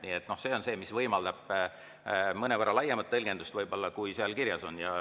Nii et see on see, mis võimaldab mõnevõrra laiemat tõlgendust võib-olla, kui seal kirjas on.